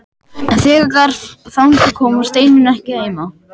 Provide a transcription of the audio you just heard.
En þegar þangað kom var Steinunn ekki heima.